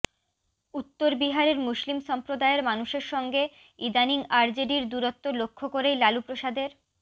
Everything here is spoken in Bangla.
উত্তর বিহারের মুসলিম সম্প্রদায়ের মানুষের সঙ্গে ইদানীং আরজেডির দূরত্ব লক্ষ্য করেই লালুপ্রসাদের